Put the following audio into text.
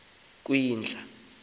kwindla